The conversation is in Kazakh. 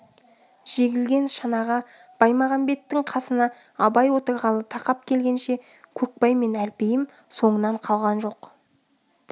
жегілген шанаға баймағамбеттің қасына абай отырғалы тақап келгенше көкбай мен әлпейім соңынан қалған жоқ